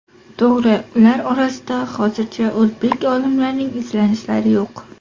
To‘g‘ri, ular orasida, hozircha, o‘zbek olimlarining izlanishlari yo‘q.